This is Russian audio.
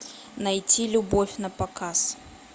найти любовь на показ